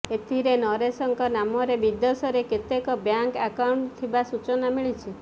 ଏଥିରେ ନରେଶଙ୍କ ନାମରେ ବିଦେଶରେ କେତେକ ବ୍ୟାଙ୍କ ଆକାଉଣ୍ଟ ଥିବା ସୂଚନା ମିଳିଛି